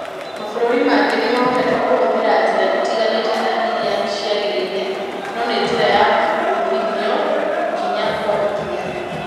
"Mabũrũri mangĩ nĩ mahotete kũhũthĩra njĩra itiganĩte na iria ciagĩrĩire. No nĩ njĩra ya uumithio, ikinya kwa ikinya".